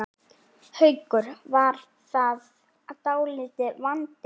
Haukur: Var það dálítill vandi?